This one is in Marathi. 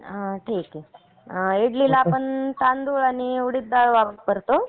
इडलीला आपण तांदूळ आणि उडीद डाळ वापरतो.